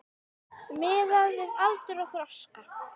Miðað við aldur og þroska.